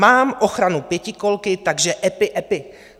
Mám ochranu pětikolky, takže epi epi!"